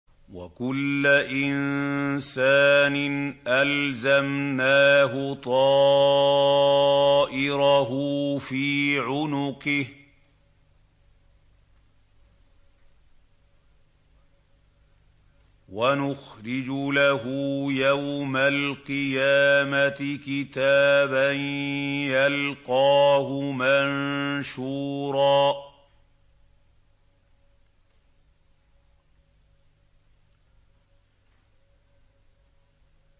وَكُلَّ إِنسَانٍ أَلْزَمْنَاهُ طَائِرَهُ فِي عُنُقِهِ ۖ وَنُخْرِجُ لَهُ يَوْمَ الْقِيَامَةِ كِتَابًا يَلْقَاهُ مَنشُورًا